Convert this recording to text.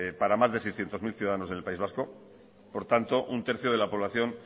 para más de seiscientos mil ciudadanos del país vasco por tanto un tercio de la población